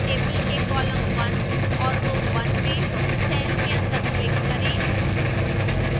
table के column 1 और row 1 में cell के अंदर click करें